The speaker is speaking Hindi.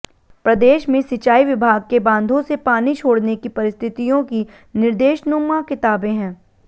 प्रदेश में सिंचाई विभाग के बांधों से पानी छोड़ने की परिस्थतियों की निर्देश्नुमा किताबें है